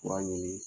Fura ɲini